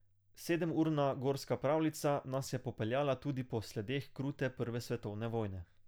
Sedemurna gorska pravljica nas je popeljala tudi po sledeh krute prve svetovne vojne.